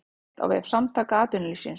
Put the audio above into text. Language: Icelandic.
Frétt á vef Samtaka atvinnulífsins